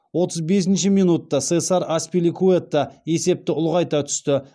отыз бесінші минутта сесар аспиликуэта есепті ұлғайта түсті